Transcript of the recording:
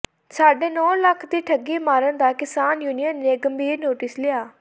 ਸਾਢੇ ਨੌ ਲੱਖ ਦੀ ਠੱਗੀ ਮਾਰਨ ਦਾ ਕਿਸਾਨ ਯੂਨੀਅਨ ਨੇ ਗੰਭੀਰ ਨੋਟਿਸ ਲਿਆ